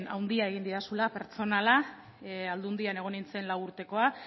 handia egin didazula pertsonala aldundian egin nintzen lau urtekoa